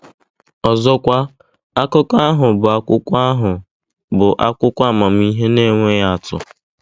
Ọzọkwa, akụkọ ahụ bụ akwụkwọ ahụ bụ akwụkwọ amamihe na-enweghị atụ.